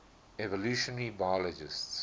evolutionary biologists